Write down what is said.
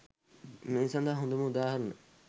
මේ සදහා හොදම උදාහරණ